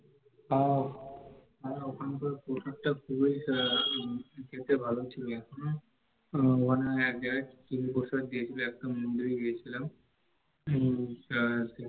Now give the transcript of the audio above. আর, ওখানের প্রসাদটা ও খুব খেতে ভালো ছিলো, আহ ওখানে এক জায়গায় খিচুড়ি সুন্দর প্রসাদ দিয়েছিলো একটা মন্দিরে গিয়েছিলাম হম তারপর